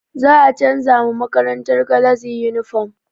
Za a canza ma makarantar galazi yunifom